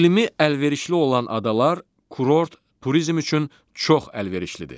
İqlimi əlverişli olan adalar kurort turizm üçün çox əlverişlidir.